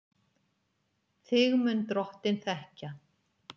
Þig mun Drottinn þekkja.